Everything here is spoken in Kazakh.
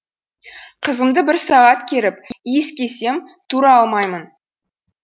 қызымды бір сағат керіп иіскесем тұра алмаймын